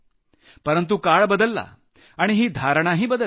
परंतु काळ बदलला आणि ही धारणाही बदलली